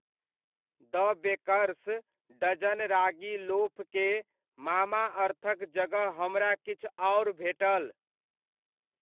द baker's dozen ragi loaf के मामाअर्थ'क जगह हमरा किछु आओर भेटल।